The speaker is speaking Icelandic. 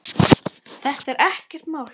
Þetta er ekkert mál!